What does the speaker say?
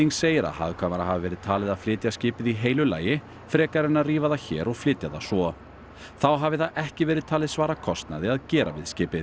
segir að hagkvæmara hafi verið talið að flytja skipið í heilu lagi frekar en að rífa það hér og flytja það svo þá hafi það ekki verið talið svara kostnaði að gera við skipið